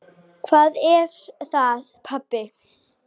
Hvað er það, pabbi?